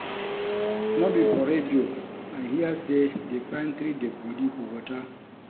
No be for radio I hear say dey find three dead body for water $